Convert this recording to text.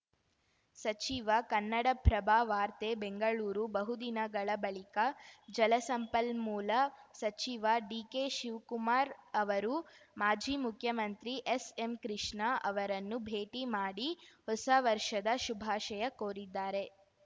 ಸಚಿವ ಕನ್ನಡಪ್ರಭ ವಾರ್ತೆ ಬೆಂಗಳೂರು ಬಹು ದಿನಗಳ ಬಳಿಕ ಜಲಸಂಪನ್ಮೂಲ ಸಚಿವ ಡಿಕೆ ಶಿವ್ ಕುಮಾರ್‌ ಅವರು ಮಾಜಿ ಮುಖ್ಯಮಂತ್ರಿ ಎಸ್‌ಎಂ ಕೃಷ್ಣ ಅವರನ್ನು ಭೇಟಿ ಮಾಡಿ ಹೊಸ ವರ್ಷದ ಶುಭಾಶಯ ಕೋರಿದ್ದಾರೆ